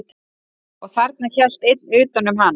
Og þarna hélt einn utan um hana.